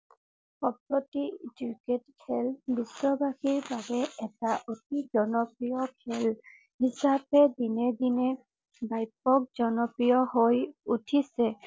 cricket খেল বিশ্ববাসীৰ বাবে এটা অতি জনপ্ৰিয় খেল হিচাপে দিনে দিনে ব্যাপক জনপ্ৰিয় হৈ উঠিছে